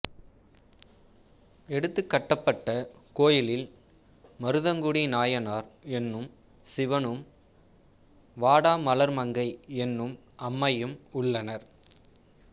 எடுத்துக்கட்டப்பட்ட கோயிலில் மருதங்குடி நாயனார் என்னும் சிவனும் வாடாமலர்மங்கை என்னும் அம்மையும் உள்ளனர்